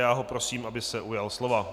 Já ho prosím, aby se ujal slova.